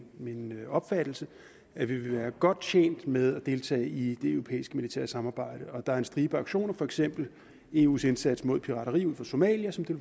opfattelse at vi vil være godt tjent med at deltage i det europæiske militære samarbejde og der er en stribe aktioner for eksempel eus indsats mod pirateri ud for somalia som det